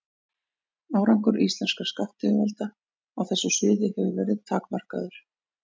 Árangur íslenskra skattyfirvalda á þessu sviði hefur verið takmarkaður.